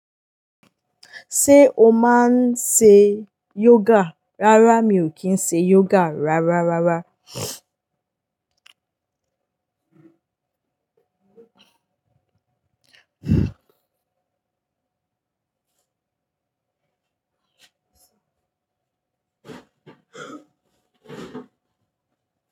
Ṣé o máa ń ṣe yoga? Rárá mi ò kí ń ṣe yoga rárá rara.